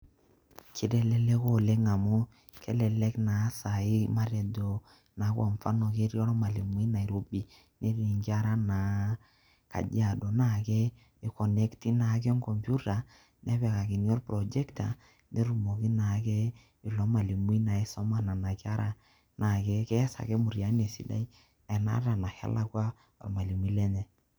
Keiteleleka oleng amu kelelek naa sai matejo naa kwa mfano ketii olmalui Nairobi netii nkera naa kajiado naake  eikonekti naake enkompyuta nepikakini olprojekta netumoki naake ilo  malimui aisoma nena kera naake keas ake mutiani esidai ena hata nake elakwa olmalimui lenye.